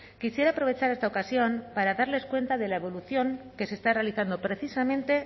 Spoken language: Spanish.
quisiera aprovechar esta ocasión para darles cuenta de la evolución que se está realizando precisamente